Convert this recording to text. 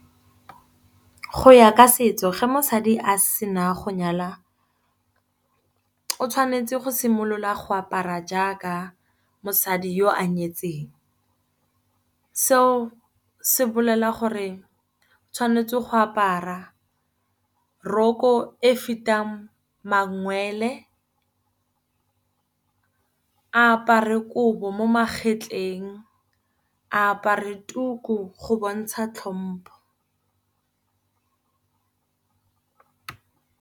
Go ya ka setso fa mosadi a sena go nyala, o tshwanetse go simolola go apara jaaka mosadi yo a nyetseng. Seo se bolela gore tshwanetse go apara roko e fetang mangwele, a apare kobo mo magetleng, a apare tuku go bontsha tlhompo.